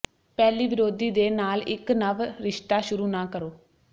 ਪਹਿਲੀ ਵਿਰੋਧੀ ਦੇ ਨਾਲ ਇੱਕ ਨਵ ਰਿਸ਼ਤਾ ਸ਼ੁਰੂ ਨਾ ਕਰੋ